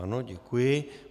Ano, děkuji.